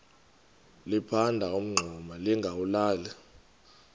liphanda umngxuma lingawulali